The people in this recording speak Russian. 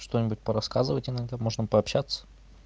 что-нибудь по рассказывать иногда можно пообщаться